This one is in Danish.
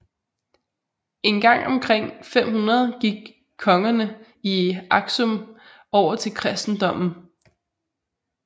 En gang omkring 500 gik kongerne i Aksum over til kristendommen